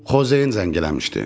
Xozein zəng eləmişdi.